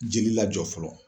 Jeli lajɔ fɔlɔ.